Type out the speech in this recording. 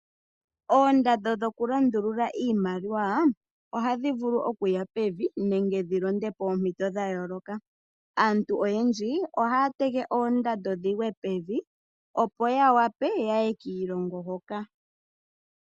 Oondando dhokulundulula iimaliwa ohadhivulu okuya pevi nenge dhilonde poompito dhayooloka. Aantu oyendji ohaya tege oondando dhigwe pevi opo yawape yaye kiilongo hoka.